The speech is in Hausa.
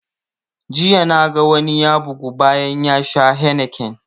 Jiya na ga wani ya bugu bayan ya sha heineken